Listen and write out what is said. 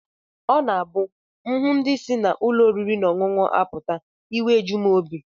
Ọ na-abụ m hụ ndị si n'ụlọ oriri na ọṅụṅụ apụta, iwe eju m obi